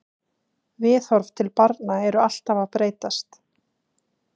Viðhorf til barna eru alltaf að breytast.